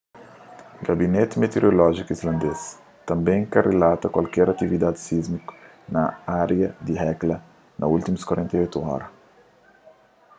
gabineti mitiorolójiku islandês tanbê ka rilata kualker atividadi sismiku na ária di hekla na últimus 48 ora